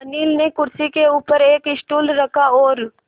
अनिल ने कुर्सी के ऊपर एक स्टूल रखा और